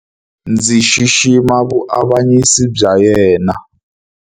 Ndzi xixima vuavanyisi bya yena.